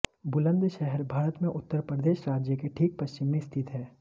बुलन्दशहर भारत में उत्तर प्रदेश राज्य के ठीक पश्चिम में स्थित है